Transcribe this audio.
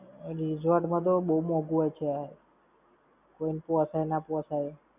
Resort માં તો બવ મોંઘુ હશે. કોઈ ને પોસાય ના પોસાય!